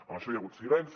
en això hi ha hagut silenci